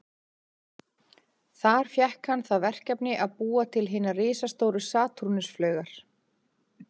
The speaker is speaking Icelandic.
Þar fékk hann það verkefni að búa til hinar risastóru Satúrnus-flaugar.